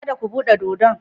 Kada ku buɗe dodon